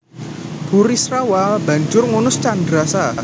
Burisrawa banjur ngunus candrasa